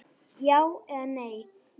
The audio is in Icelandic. Já eða nei?